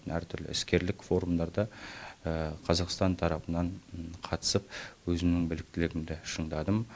әртүрлі іскерлік форумдарда қазақстан тарапынан қатысып өзімнің біліктілігімді шыңдадым